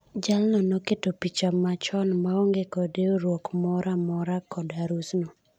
Jaal no ne oketo picha machon maonge kod riuruok mora mora kod harus no.